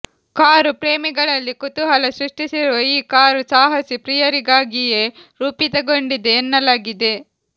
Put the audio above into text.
car ಪ್ರೇಮಿಗಳಲ್ಲಿ ಕುತೂಹಲ ಸೃಷ್ಟಿಸಿರುವ ಈ ಕಾರು ಸಾಹಸಿ ಪ್ರಿಯರಿಗಾಗಿಯೇ ರೂಪಿತಗೊಂಡಿದೆ ಎನ್ನಲಾಗಿದೆ